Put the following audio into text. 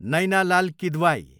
Naina Lal Kidwai